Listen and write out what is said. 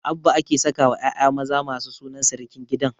Abba ake sakawa ƴaƴa maza masu sunan sirikin gidan